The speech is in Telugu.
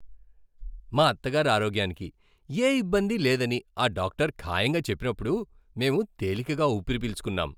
మా అత్తగారి ఆరోగ్యానికి ఏ ఇబ్బంది లేదని ఆ డాక్టర్ ఖాయంగా చెప్పినప్పుడు మేం తేలికగా ఊపిరిపీల్చుకున్నాం.